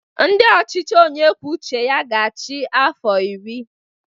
Ndị ọchịchị onye kwuo uche ya ga-achị afọ iri